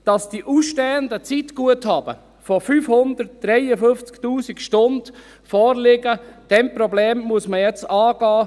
– Das Problem, dass ausstehende Zeitguthaben von 553 000 Stunden vorliegen, muss man jetzt angehen.